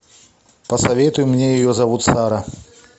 посоветуй мне ее зовут сара